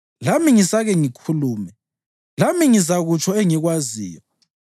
Lami ngisake ngikhulume; lami ngizakutsho engikwaziyo.